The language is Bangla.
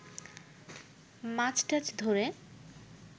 মাছ টাছ ধরে